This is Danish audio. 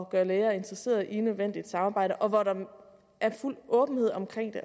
gøre læger interesseret i et nødvendigt samarbejde og hvor der er fuld åbenhed omkring det